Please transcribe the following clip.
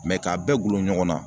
Mɛ k'a bɛɛ gulon ɲɔgɔn na